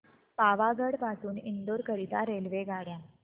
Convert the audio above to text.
पावागढ पासून इंदोर करीता रेल्वेगाड्या